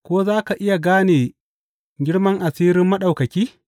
Ko za ka iya gane girman asirin Maɗaukaki?